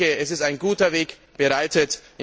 Es ist ein guter Weg bereitet.